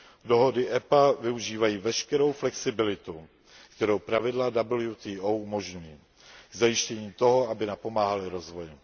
Dohody EPA využívají veškerou flexibilitu, kterou pravidla WTO umožňují, k zajištění toho, aby napomáhaly rozvoji.